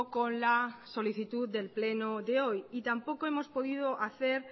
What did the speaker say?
con la solicitud del pleno de hoy y tampoco hemos podido hacer